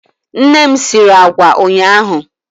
Nne m sịrị àgwà ụnyaahụ.